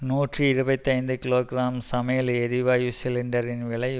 நூற்றி இருபத்தி ஐந்து கிலோ கிராம் சமையல் எரிவாயு சிலிண்டரின் விலை